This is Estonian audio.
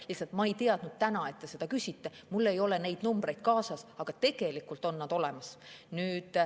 Lihtsalt ma ei teadnud, et te täna seda küsite, mul ei ole neid numbreid kaasas, aga tegelikult on need olemas.